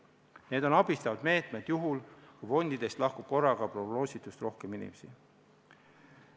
Need on abistavad meetmed juhul, kui fondidest lahkub korraga prognoositust rohkem inimesi.